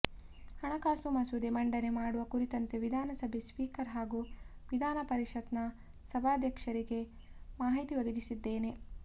ಹಣಕಾಸು ಮಸೂದೆ ಮಂಡನೆ ಮಾಡುವ ಕುರಿತಂತೆ ವಿಧಾನಸಭೆ ಸ್ಪೀಕರ್ ಹಾಗೂ ವಿಧಾನಪರಿಷತ್ನ ಸಭಾಧ್ಯಕ್ಷರಿಗೆ ಮಾಹಿತಿ ಒದಗಿಸಿದ್ದೇನೆ